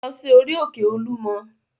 Lọ sí orí-òkè Olúmọ!